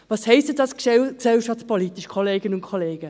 Was heisst dies denn gesellschaftspolitisch, Kolleginnen und Kollegen?